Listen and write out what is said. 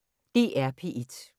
DR P1